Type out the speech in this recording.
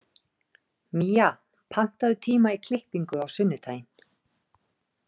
Mía, pantaðu tíma í klippingu á sunnudaginn.